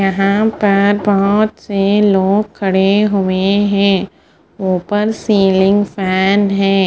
यहाँ पर बहोत से लोग खड़े है ऊपर सीलिंग फेन है।